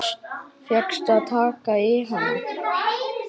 Fékkstu að taka í hana?